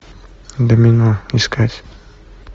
домино искать